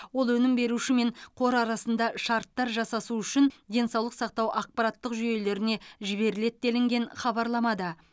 ол өнім беруші мен қор арасында шарттар жасасу үшін денсаулық сақтау ақпараттық жүйелеріне жіберіледі делінген хабарламада